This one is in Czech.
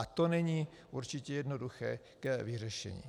A to není určitě jednoduché k vyřešení.